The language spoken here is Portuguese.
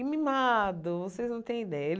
E mimado, vocês não têm ideia. Ele